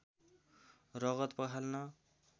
रगत पखाल्न